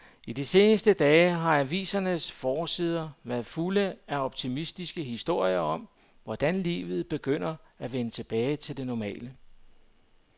I de seneste dage har avisernes forsider været fulde af optimistiske historier om, hvordan livet begynder at vende tilbage til det normale.